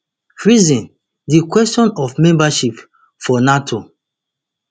freezing di question of membership for nato